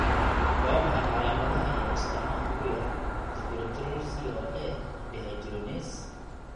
Waa maxay calaamadaha iyo astaamaha kuyaar isobutyryl CoA dehydrogenase?